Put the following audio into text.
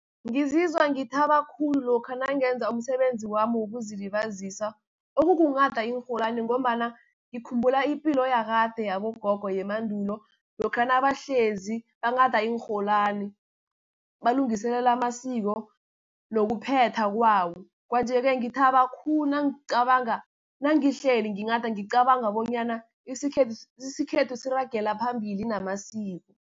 Ngizizwa ngithabe khulu lokha nangenza umsebenzi wami wokuzilibazisa, okukunghada iinrholwani, ngombana ngikhumbula ipilo yakade yabogogo yemandulo, lokha nabahlezi banghada iinrholwani balungiselela amasiko nokuphethwa kwawo. Kwanjesi ngithaba khulu nangicabanga nangihleli nginghada ngicabanga bonyana isikhethu siragele phambili namasiko.